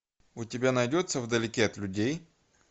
у тебя найдется вдалеке от людей